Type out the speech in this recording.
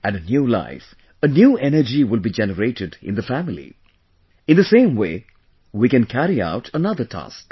And a new life, a new energy will be generated in the family in the same way we can carry out another task